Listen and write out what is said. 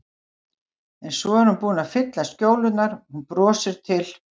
En svo er hún búin að fylla skjólurnar, hún brosir til